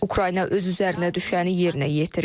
Ukrayna öz üzərinə düşəni yerinə yetirib.